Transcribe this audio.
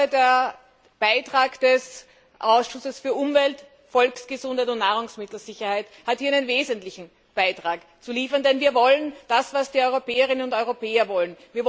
Der Beitrag des Ausschusses für Umwelt, Volksgesundheit und Nahrungsmittelsicherheit hat hier einen wesentlichen Beitrag zu liefern, denn wir wollen das, was die Europäerinnen und Europäer wollen.